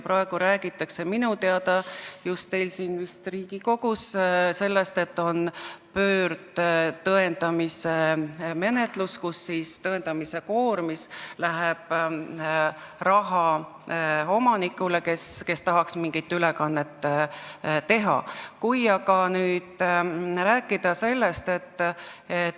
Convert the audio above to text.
Praegu räägitakse minu teada just siin Riigikogus pöördtõendamise menetlusest, kus tõendamise koormis läheb raha omanikule, kes tahaks mingit ülekannet teha.